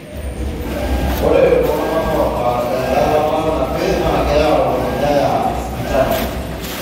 Ore iltungana oata earata napii na keyieu neyae sipitali.